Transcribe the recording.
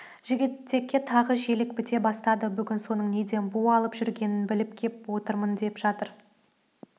жігітекке тағы желік біте бастады бүгін соның неден бу алып жүргенін біліп кеп отырмын деп жатыр